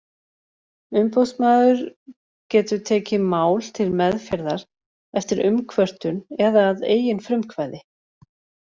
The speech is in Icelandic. Umboðsmaður getur tekið mál til meðferðar eftir umkvörtun eða að eigin frumkvæði.